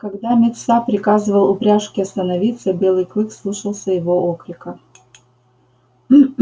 когда мит са приказывал упряжке остановиться белый клык слушался его окрика